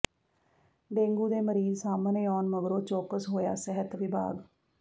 dengue ਦੇ ਮਰੀਜ਼ ਸਾਹਮਣੇ ਆਉਣ ਮਗਰੋਂ ਚੌਕਸ ਹੋਇਆ ਸਿਹਤ ਵਿਭਾਗ